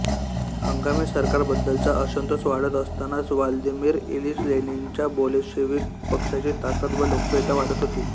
हंगामी सरकारबद्दलचा असंतोष वाढत असतानाच व्लादिमिर इलिच लेनिनच्या बोलशेव्हिक पक्षाची ताकद व लोकप्रियता वाढत होती